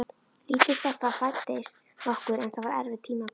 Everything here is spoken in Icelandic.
Lítil stelpa fæddist okkur en það var erfitt tímabil.